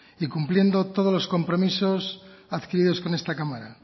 y cumpliendo todos los compromisos adquiridos con esta cámara